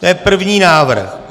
To je první návrh.